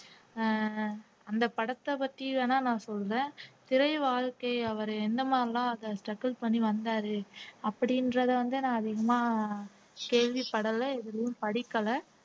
அஹ் அந்த படத்தை பத்தி வேணா நான் சொல்லுவேன் திரை வாழ்க்கை அவரு என்ன மாதிரி எல்லாம் அத struggle பண்ணி வந்தாரு அப்படின்றதை வந்து நான் அதிகமா கேள்விப்படலை எதிலேயும் படிக்கலை